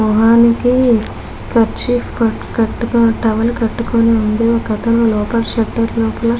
మొహానికి కర్చీఫ్ కట్ కట్టుకొని టవల్ కట్టుకొని ఉంది. ఒక తను లోపల షెటర్లోకి --